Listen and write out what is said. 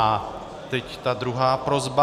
A teď ta druhá prosba.